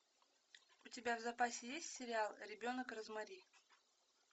у тебя в запасе есть сериал ребенок розмари